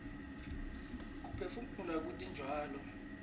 kuphefumula kwetitjalo